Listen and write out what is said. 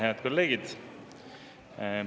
Head kolleegid!